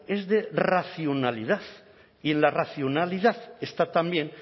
es de racionalidad y en la racionalidad está también